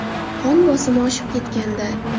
Qon bosimi oshib ketgandi.